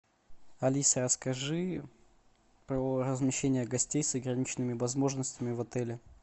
алиса расскажи про размещение гостей с ограниченными возможностями в отеле